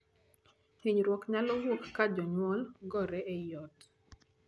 Hinyruok nyalo wuok ka jonyuol gore ei ot.